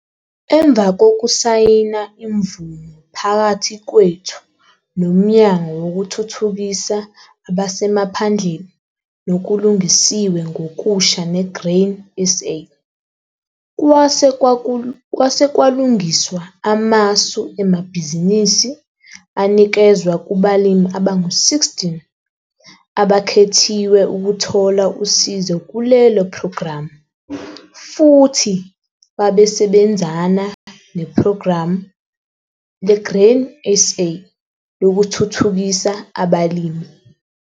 Emva kokusayina imvumo phakathi kwethu Nomnyango Wokuthuthukisa Abasemaphandleni Nokulungisiwe Ngokusha neGrain SA, kwase kwalungiswa amasu emabhizinisi anikezwa kubalimi abangu-16 abakhethiwe ukuthola usizo kulelo phrogramu futhi babesebenzana nePhrogramu leGrain SA Lokuthuthukisa Abalimi.